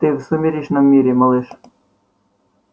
ты в сумеречном мире малыш